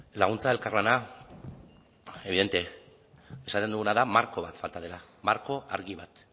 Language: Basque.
laguntza elkarlana evidente esaten duguna da marko bat falta dela marko argi bat